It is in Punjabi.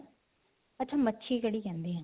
ਅੱਛਾ ਮੱਛੀ ਕੜੀ ਕਹਿੰਦੇ ਹੈ